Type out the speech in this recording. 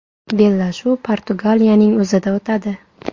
Bellashuv Portugaliyaning o‘zida o‘tadi.